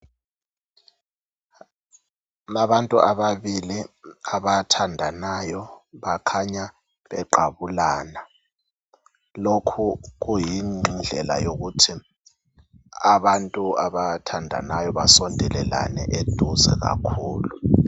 Abantu ababili abathandanayo bakhanya beqabulana lokhu kuyindlela yokuthi abantu abathandanayo basondelelane eduze kakhulu.